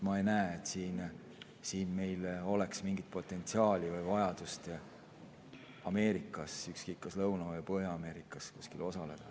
Ma ei näe, et meil oleks mingit potentsiaali või vajadust Ameerikas, ükskõik, kas Lõuna‑ või Põhja-Ameerikas kuskil osaleda.